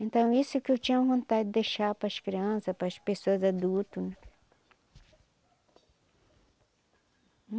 Então, isso que eu tinha vontade de deixar para as criança, para as pessoas adulto.